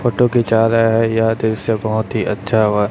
Photo खींच रहा है। यह दृश्य बहोत अच्छा व--